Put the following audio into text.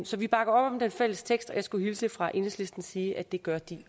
så vi bakker op om den fælles tekst og jeg skulle hilse fra enhedslisten og sige at det gør de